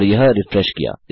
और यह रिफ्रेश किया